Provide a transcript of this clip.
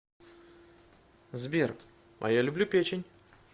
сбер а я люблю печень